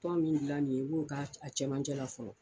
Tɔn min gilan nin ye, i b'o ka a cɛmancɛ la fɔlɔ